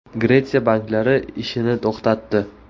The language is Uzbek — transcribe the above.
Gretsiya banklari ishini to‘xtatdi.